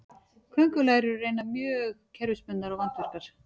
köngulær eru raunar mjög kerfisbundnar og vandvirkar